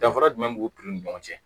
Danfara jumɛn b'u ni ɲɔgɔn cɛ